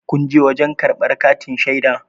kunje wajen karbar katin shaida?